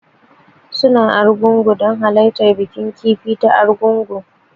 Suna Argungu don halartar bikin kifi ta Argungu